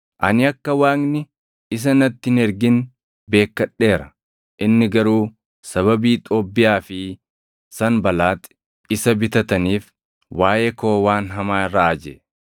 Ani akka Waaqni isa natti hin ergin beekkadheera; inni garuu sababii Xoobbiyaa fi Sanbalaaxi isa bitataniif waaʼee koo waan hamaa raaje.